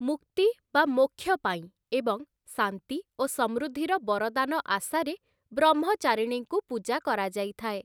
ମୁକ୍ତି ବା ମୋକ୍ଷ ପାଇଁ, ଏବଂ ଶାନ୍ତି ଓ ସମୃଦ୍ଧିର ବରଦାନ ଆଶାରେ ବ୍ରହ୍ମଚାରିଣୀଙ୍କୁ ପୂଜା କରାଯାଇଥାଏ ।